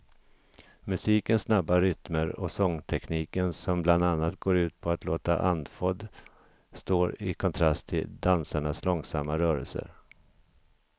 Musikens snabba rytmer och sångtekniken som bland annat går ut på att låta andfådd står i kontrast till dansarnas långsamma rörelser.